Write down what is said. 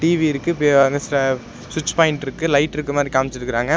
TV இருக்கு ஸ்விட்ச் point இருக்கு லைட் இருக்க மாரி காமிச்சிருக்கறாங்க.